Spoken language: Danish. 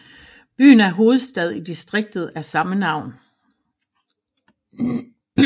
Byen er hovedstad i distriktet af samme navn